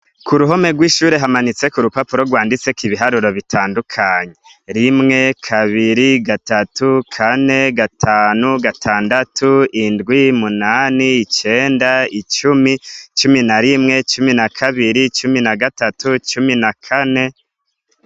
Kuruhomwe rwishure hamanitseko urupapuro rwanditseko ibiharuro bitandukanye, rimwe ,kabiri, gatatu, kane, gatanu, gatandatu, indwi, umunani, icenda, cumi, cumi na rimwe, cumi na kabiri, cumi na gatatu, cumi na kane.